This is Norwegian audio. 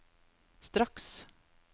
straks